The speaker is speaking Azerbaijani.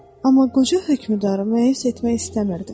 amma qoca hökmdarı müeyyis etmək istəmirdi.